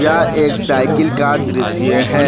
यह एक साइकिल का दृश्य है।